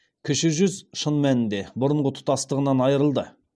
кіші жүз шын мәнінде бұрынғы тұтастығынан айрылды